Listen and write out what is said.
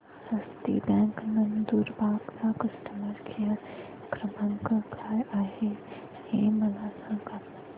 हस्ती bank Nandurbar चा customer care क्रमांक काय आहे हे मला सांगा